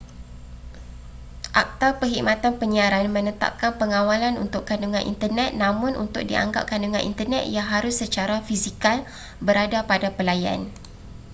akta perkhidmatan penyiaran menetapkan pengawalan untuk kandungan internet namun untuk dianggap kandungan internet ia harus secara fisikal berada pada pelayan